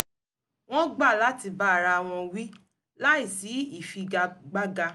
wọ́n gbà láti bá ara àwọn wí láìsí ìfigagbága